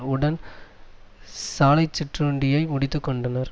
உடன் சாலைச் சிற்றுண்டியை முடித்து கொண்டார்